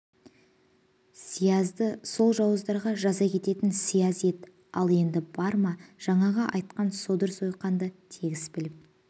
сиязды сол жауыздарға жаза кесетін сияз ет ал енді бар ма жаңағы айтқан содыр-сойқандарынды тегіс біліп